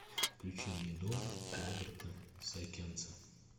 включи мне дом роберта сайкенса